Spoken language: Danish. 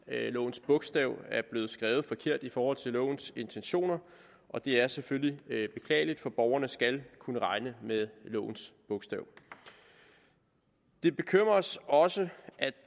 lovens bogstav er blevet skrevet forkert i forhold til lovens intentioner og det er selvfølgelig beklageligt for borgerne skal kunne regne med lovens bogstav det bekymrer os også at